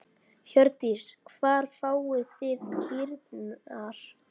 Hjördís: Hvar fáið þið kýrnar?